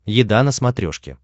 еда на смотрешке